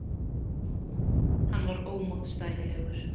Hann var ómótstæðilegur.